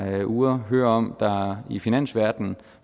her uger hører om i finansverdenen